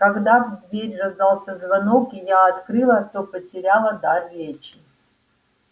когда в дверь раздался звонок и я открыла то потеряла дар речи